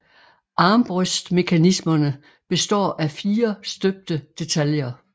Armbrøstmekanismerne består af fire støbte detaljer